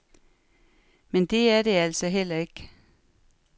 Men det er det altså heller ikke.